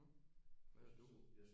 Mhm hvad synes du?